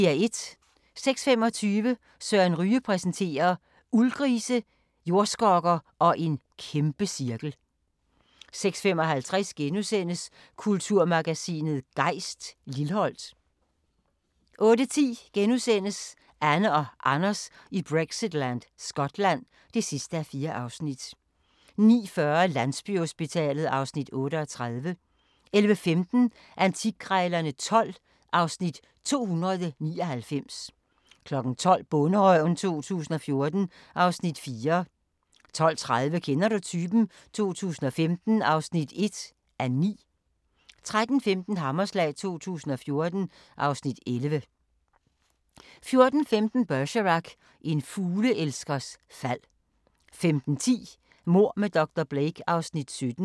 06:25: Søren Ryge præsenterer: Uldgrise, jordskokker og en kæmpecirkel 06:55: Kulturmagasinet Gejst: Lilholt * 08:10: Anne og Anders i Brexitland: Skotland (4:4)* 09:40: Landsbyhospitalet (Afs. 38) 11:15: Antikkrejlerne XII (Afs. 299) 12:00: Bonderøven 2014 (Afs. 4) 12:30: Kender du typen? 2015 (1:9) 13:15: Hammerslag 2014 (Afs. 11) 14:15: Bergerac: En fugleelskers fald 15:10: Mord med dr. Blake (Afs. 17)